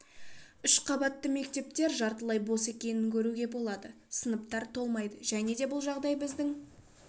үш қабатты мектептер жартылай бос екенін көруге болады сыныптар толмайды және де бұл жағдай біздің